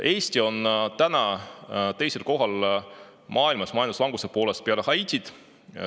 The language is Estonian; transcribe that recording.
Eesti on majanduslanguse poolest teisel kohal maailmas, peale Haitit.